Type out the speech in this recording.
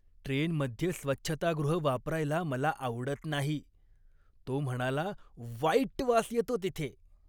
ट्रेनमध्ये स्वच्छतागृह वापरायला मला आवडत नाही, तो म्हणाला, "वाईट वास येतो तिथे".